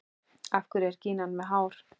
Af hverju er gínan með hár?